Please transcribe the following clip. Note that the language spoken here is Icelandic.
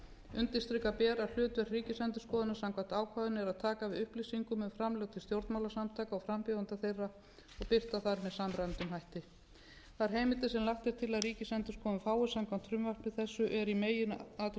undirstrika ber að hlutverk ríkisendurskoðunar samkvæmt ákvæðinu er að taka við upplýsingum um framlög til stjórnmálasamtaka og frambjóðenda þeirra og birta þær með samræmdum hætti þær heimildir sem lagt er til að ríkisendurskoðun fái samkvæmt frumvarpi þessu eru í meginatriðum